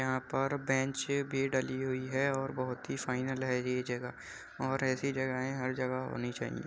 यहाँ पर बेंच भी डली हुई है और बोहोत ही फाइनल है ये जगह और ऐसी जगहे हर जगह होनी चाहिए।